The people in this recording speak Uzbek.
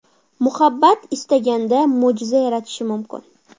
Muhabbat istaganda mo‘jiza yaratishi mumkin.